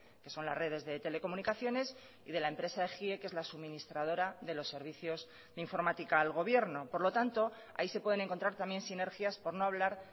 que son las redes de telecomunicaciones y de la empresa gie que es la suministradora de los servicios de informática al gobierno por lo tanto ahí se pueden encontrar también sinergias por no hablar